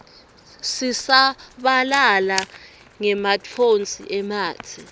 sisabalala ngematfonsi ematse